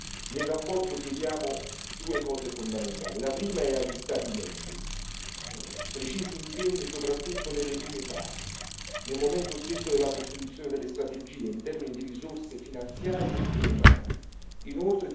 Per questo nella relazione chiediamo due cose fondamentali. La prima richiesta è rivolta agli Stati membri chiediamo precisi impegni, soprattutto nelle prime fasi, nel momento stesso della costituzione delle strategie in termini di risorse finanziarie e umane.